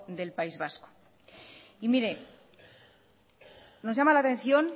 del país vasco y mire nos llama la atención